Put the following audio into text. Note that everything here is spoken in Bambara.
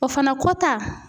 O fana kɔ ta